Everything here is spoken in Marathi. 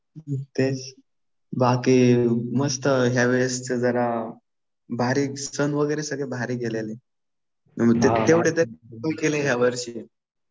बाकी मस्त ह्यावेळेसचं जरा सण वगैरे सगळे भारी गेले. तेवढे तरी सण केले यावर्षी.